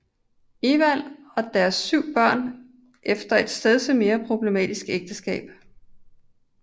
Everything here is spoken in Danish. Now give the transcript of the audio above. Ewald og deres 7 børn efter et stedse mere problematisk ægteskab